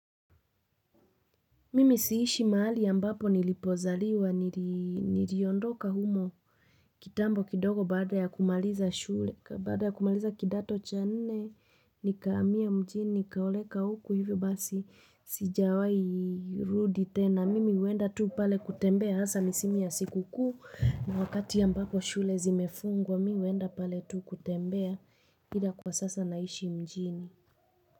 Mimi siishi mahali ambapo nilipozaliwa, Niliondoka humo kitambo kidogo baada ya kumaliza shule, baada ya kumaliza kidato cha nne, nikahamia mjini, nikaoleka huku hivyo basi, sijawai rudi tena, mimi huenda tu pale kutembea hasa misimu ya siku kuu, na wakati ambapo shule zimefungwa, mimi huenda pale tu kutembea, bila kwa sasa naishi mjini.